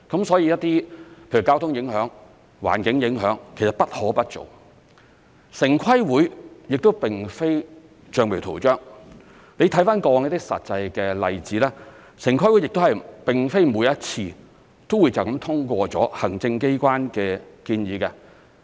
所以一些例如交通影響、環境影響，其實不可不做，城市規劃委員會亦並非橡皮圖章，你看過往一些實際的例子，城規會亦並非每一次都直接通過行政機關的建議。